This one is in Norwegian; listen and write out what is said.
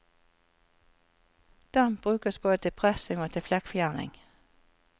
Damp brukes både til pressing og til flekkfjerning.